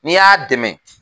N'i y'a dɛmɛ